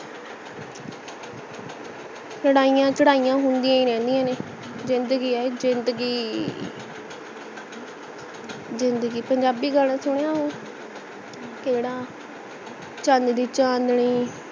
ਲੜਾਇਆਂ ਸ਼ਡਾਇਆਂ ਹੁੰਦੀਆਂ ਹੀ ਰਹਿੰਦੀਆਂ ਨੇ ਜਿੰਦਗੀ ਹੈ ਇਹ ਜਿੰਦਗੀ ਜਿੰਦਗੀ ਪੰਜਾਬੀ ਗਾਣਾ ਸੁਣਿਆ ਉਹ ਕੇਡਾ ਚਨ ਦੀ ਚਾਂਦਨੀ